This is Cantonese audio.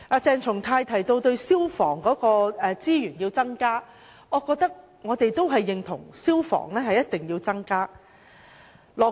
鄭松泰議員提到要增加消防處的資源，我認為我們也認同消防開支一定要增加。